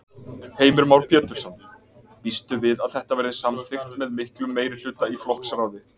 Heimir Már Pétursson: Býstu við að þetta verði samþykkt með miklum meirihluta í flokksráði?